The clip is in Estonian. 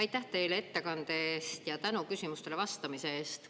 Aitäh teile ettekande eest ja tänu küsimustele vastamise eest!